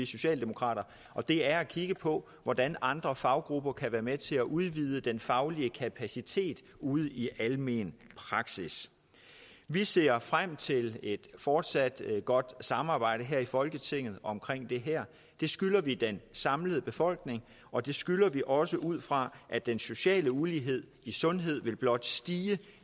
socialdemokrater og det er at kigge på hvordan andre faggrupper kan være med til at udvide den faglige kapacitet ude i almen praksis vi ser frem til et fortsat godt samarbejde her i folketinget om det her det skylder vi den samlede befolkning og det skylder vi også ud fra at den sociale ulighed i sundhed blot vil stige